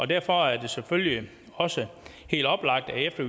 derfor er det selvfølgelig også helt oplagt at efter